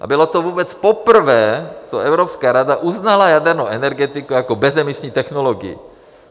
A bylo to vůbec poprvé, co Evropská rada uznala jadernou energetiku jako bezemisní technologii.